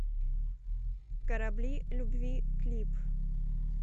корабли любви клип